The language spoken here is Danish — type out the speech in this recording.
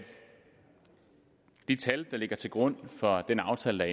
de tal ligger til grund for den aftale der